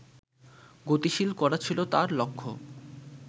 গতিশীল করা ছিল তাঁর লক্ষ্য